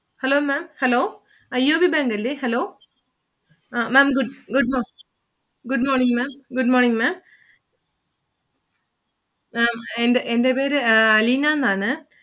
Hello Maám Hello IOB bank അല്ലെ Hello ah Maám Good mo~ Good Morning Maám Good Morning Maám. എൻ്റെ പേര് അലീനാന്നാണ്